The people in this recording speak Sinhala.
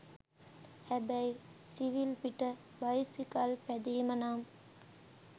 හැබැයි සිවිල් පිට බයිසිකල් පැදීම නම්